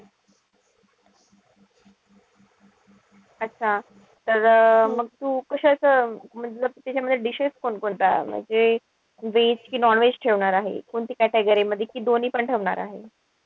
अच्छा तर मग तू कशात तिथे म्हणजे dishes कोणकोणत्या? म्हणजे veg कि non-veg ठेवणार आहे? कोणती category मध्ये कि दोन्हीपण ठेवणार आहे?